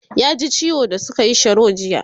ya ji ciwo da sukayi Sharo jiya